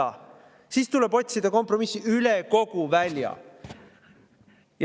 –, üle kogu välja.